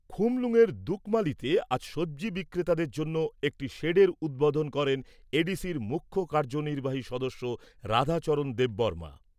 খুমলুঙয়ের দুকমালিতে আজ সবজি বিক্রেতাদের জন্য একটি শেডের উদ্বোধন করেন এডিসির মুখ্য কার্যনির্বাহী সদস্য রাধাচরণ দেববর্মা।